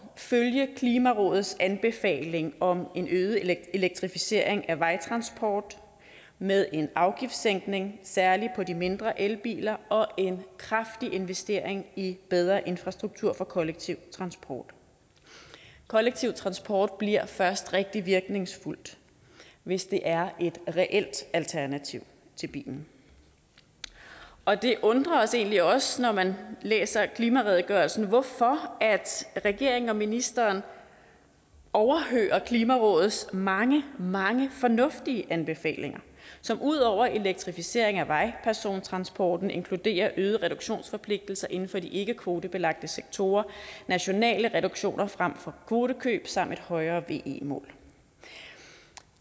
følge klimarådets anbefaling om en øget elektrificering af vejtransport med en afgiftssænkning særlig på de mindre elbiler og en kraftig investering i bedre infrastruktur for kollektiv transport kollektiv transport bliver først rigtig virkningsfuldt hvis det er et reelt alternativ til bilen og det undrer os egentlig også når man læser klimaredegørelsen hvorfor regeringen og ministeren overhører klimarådets mange mange fornuftige anbefalinger som udover elektrificering af vejpersontransporten inkluderer øgede reduktionsforpligtelser inden for de ikkekvotebelagte sektorer nationale reduktioner frem for kvotekøb samt et højere ve mål